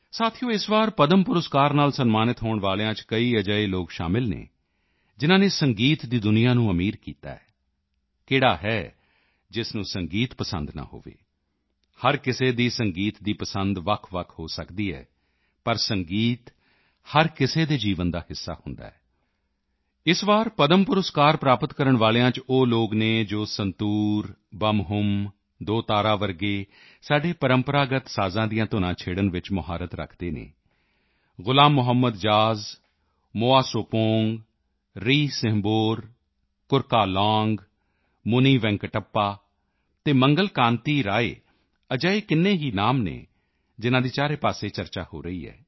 ਸਾਥੀਓ ਇਸ ਵਾਰ ਪਦਮ ਪੁਰਸਕਾਰ ਨਾਲ ਸਨਮਾਨਿਤ ਹੋਣ ਵਾਲਿਆਂ ਚ ਕਈ ਅਜਿਹੇ ਲੋਕ ਸ਼ਾਮਲ ਹਨ ਜਿਨ੍ਹਾਂ ਨੇ ਸੰਗੀਤ ਦੀ ਦੁਨੀਆ ਨੂੰ ਅਮੀਰ ਕੀਤਾ ਹੈ ਕਿਹੜਾ ਹੈ ਜਿਸ ਨੂੰ ਸੰਗੀਤ ਪਸੰਦ ਨਾ ਹੋਵੇ ਹਰ ਕਿਸੇ ਦੀ ਸੰਗੀਤ ਦੀ ਪਸੰਦ ਵੱਖਵੱਖ ਹੋ ਸਕਦੀ ਹੈ ਪਰ ਸੰਗੀਤ ਹਰ ਕਿਸੇ ਦੇ ਜੀਵਨ ਦਾ ਹਿੱਸਾ ਹੁੰਦਾ ਹੈ ਇਸ ਵਾਰ ਪਦਮ ਪੁਰਸਕਾਰ ਪ੍ਰਾਪਤ ਕਰਨ ਵਾਲਿਆਂ ਚ ਉਹ ਲੋਕ ਹਨ ਜੋ ਸੰਤੂਰ ਬੰਮਹੁਮ ਦੋ ਤਾਰਾ ਜਿਹੇ ਸਾਡੇ ਪਰੰਪਰਾਗਤ ਸਾਜ਼ਾਂ ਦੀਆਂ ਧੁਨਾਂ ਛੇੜਣ ਵਿੱਚ ਮੁਹਾਰਤ ਰੱਖਦੇ ਹਨ ਗ਼ੁਲਾਮ ਮੁਹੰਮਦ ਜਾਜ਼ ਮੋਆ ਸੁਪੌਂਗ ਰੀਸਿੰਹਬੋਰ ਕੁਰਕਾਲਾਂਗ ਮੁਨੀਵੈਂਕਟੱਪਾ ਅਤੇ ਮੰਗਲ ਕਾਂਤੀ ਰਾਏ ਅਜਿਹੇ ਕਿੰਨੇ ਹੀ ਨਾਮ ਹਨ ਜਿਨ੍ਹਾਂ ਦੀ ਚਾਰੇ ਪਾਸੇ ਚਰਚਾ ਹੋ ਰਹੀ ਹੈ